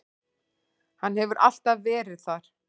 Hann hefur alltaf verið það.